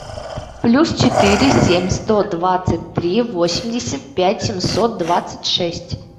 плюс четыре семь сто двадцать три восемьдесят пять семьсот двадцать шесть